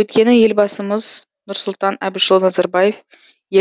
өйткені елбасымыз нұрсұлтан әбішұлы назарбаев